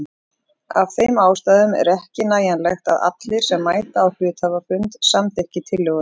Af þeim ástæðum er ekki nægjanlegt að allir sem mæta á hluthafafund samþykki tillöguna.